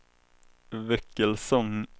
Väckelsång